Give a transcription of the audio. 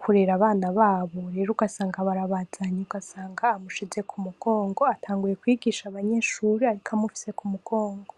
kurera abana babo rero ugasanga barabazanye ugasanga amushize ku mugongo atanguye kwigisha abanyeshuri ariko amufise ku mugongo.